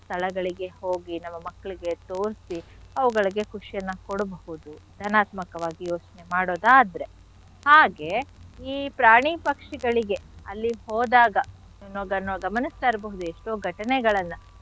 ಸ್ಥಳಗಳಿಗೆ ಹೋಗಿ ನಮ್ಮ ಮಕ್ಳಿಗೆ ತೋರ್ಸಿ ಅವುಗಳಿಗೆ ಖುಷಿಯನ್ನ ಕೊಡ್ಬಹುದು ಧನಾತ್ಮಕವಾಗಿ ಯೋಚ್ನೆ ಮಾಡೋದಾದ್ರೆ. ಹಾಗೆ ಈ ಪ್ರಾಣಿ ಪಕ್ಷಿಗಳಿಗೆ ಅಲ್ಲಿ ಹೋದಾಗ ಏನು ನಾವು ಗಮ್ನಿಸ್ತಾ ಇರ್ಬಹುದು ಎಷ್ಟೋ ಘಟನೆಗಳನ್ನ.